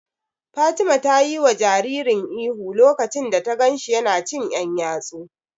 Fatima ta yiwa jaririn ihu lokacin da ta ganshi yana cin ƴan yatsu.